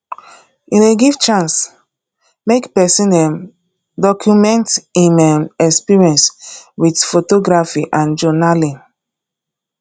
e dey give chance make pesin um document im um experience with photography and journaling